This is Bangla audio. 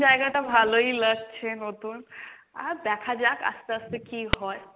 জায়গাটা ভালোই লাগছে নতুন, আর দেখা যাক আস্তে আস্তে কী হয়।